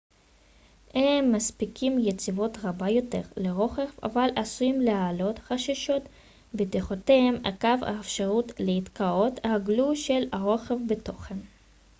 הם מספקים יציבות רבה יותר לרוכב אבל עשויים להעלות חששות בטיחותיים עקב האפשרות להיתקעות רגלו של הרוכב בתוכם